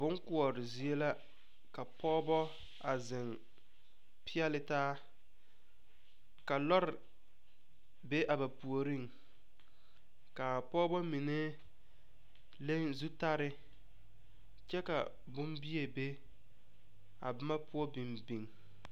Boŋ kuore zie la. Ka pɔgɔbɔ a zeŋ piele taa. Ka lɔre be a ba pooreŋ. Ka a pɔgɔbɔ mene leŋ zutare kyɛ ka boŋbie be a boma poʊ biŋ biŋ.